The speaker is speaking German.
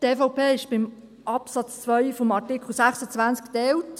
Die EVP ist beim Absatz 2 des Artikels 26 geteilt.